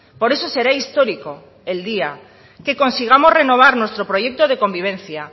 por eso será histórico el día que consigamos renovar nuestro proyecto de convivencia